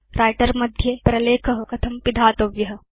writer मध्ये प्रलेख कथं पिधातव्य